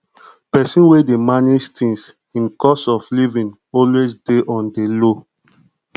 pesin wey dey manage things im cost of livin always dey on di low